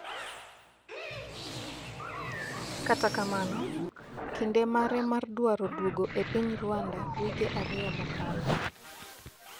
kata kamano, kinde mare mar dwaro duogo e piny Rwanda wige ariyo mokalo